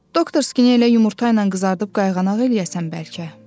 Doktorski ilə yumurta ilə qızardıb qayğanaq eləyəsən bəlkə.